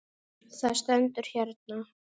Það stendur hérna.